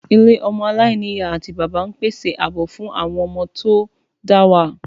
Ilé ọmọ aláìní ìyá àti bàbá ń pèsè ààbò fún àwọn ọmọ tó dá wà